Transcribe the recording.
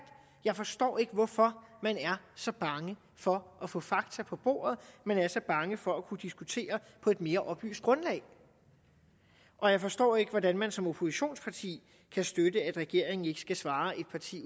jeg forstår ikke hvorfor man er så bange for at få fakta på bordet at man er så bange for at kunne diskutere på et mere oplyst grundlag og jeg forstår ikke hvordan man som oppositionsparti kan støtte at regeringen ikke skal svare et parti